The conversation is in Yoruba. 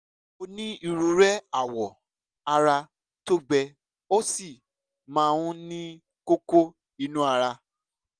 ó ní irorẹ́ awọ ara tó gbẹ ó sì máa ń ní kókó inú ara